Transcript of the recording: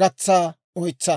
gatsa oytsa.